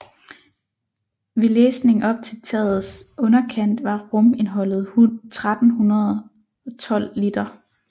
Ved læsning op til tagets underkant var rumindholdet 1312 liter